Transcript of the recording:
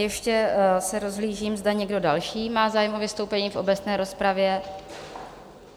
Ještě se rozhlížím, zda někdo další má zájem o vystoupení v obecné rozpravě?